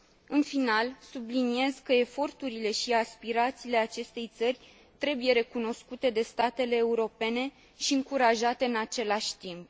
În final, subliniez că eforturile și aspirațiile acestei țări trebuie recunoscute de statele europene și încurajate în același timp.